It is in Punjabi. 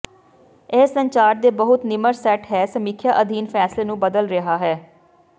ਇਹ ਸੰਚਾਰ ਦੇ ਬਹੁਤ ਨਿਮਰ ਸੈੱਟ ਹੈ ਸਮੀਖਿਆ ਅਧੀਨ ਫੈਸਲੇ ਨੂੰ ਬਦਲ ਰਿਹਾ ਹੈ